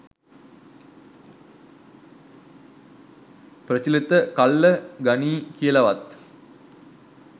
ප්‍රචලිත කල්ල ගනියි කියලවත්